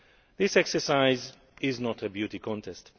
This exercise is not a beauty contest.